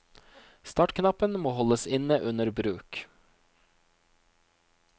Startknappen må holdes inne under bruk.